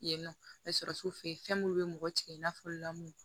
Yen nɔ me sɔrɔ su fɛ fɛn munnu bɛ mɔgɔ tigɛ i n'a fɔ lamunumu